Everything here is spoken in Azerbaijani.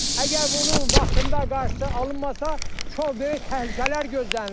Əgər bunun vaxtında qarşısı alınmasa, çox böyük təhlükələr gözlənilir.